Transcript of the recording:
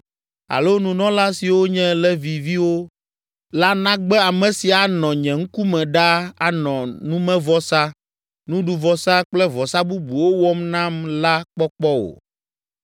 alo nunɔla siwo nye Leviviwo la nagbe ame si anɔ nye ŋkume ɖaa anɔ numevɔsa, nuɖuvɔsa kple vɔsa bubuwo wɔm nam la kpɔkpɔ o.’ ”